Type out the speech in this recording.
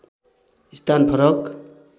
स्थान फरक